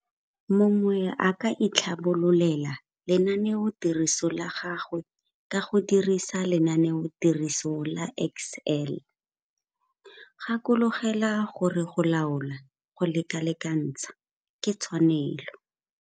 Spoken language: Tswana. Mongwe a ka itlhabololela lenaneotiriso la gagwe ka go dirisa lenaneotiriso la Excel. Gakologelwa gore go laola, go lekalekantsha ke tshwanelo.